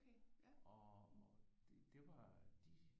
Og det var de